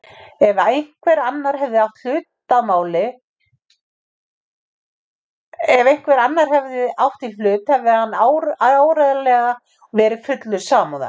Ef einhver annar hefði átt í hlut hefði hann áreiðanlega verið fullur samúðar.